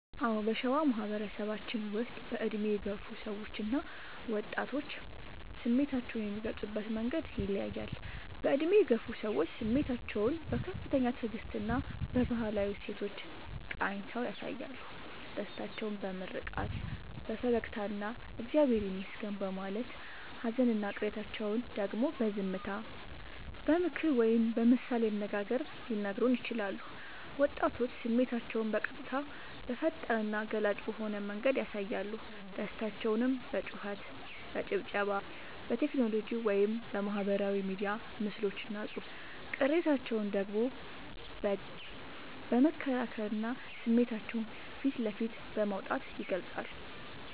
አዎ: በሸዋ ማህበረሰባችን ውስጥ በዕድሜ የገፉ ሰዎችና ወጣቶች ስሜታቸውን የሚገልጹበት መንገድ ይለያያል፦ በዕድሜ የገፉ ሰዎች፦ ስሜታቸውን በከፍተኛ ትዕግስትና በባህላዊ እሴቶች ቃኝተው ያሳያሉ። ደስታቸውን በምርቃት፣ በፈገግታና «እግዚአብሔር ይመስገን» በማለት: ሃዘንና ቅሬታቸውን ደግሞ በዝምታ: በምክር ወይም በምሳሌ አነጋገር ሊነግሩን ይችላሉ። ወጣቶች፦ ስሜታቸውን በቀጥታ: በፈጣንና ገላጭ በሆነ መንገድ ያሳያሉ። ደስታቸውን በጩኸት: በጭብጨባ: በቴክኖሎጂ (በማህበራዊ ሚዲያ ምስሎችና ጽሑፎች): ቅሬታቸውን ደግሞ በግልጽ በመከራከርና ስሜታቸውን ፊት ለፊት በማውጣት ይገልጻሉ።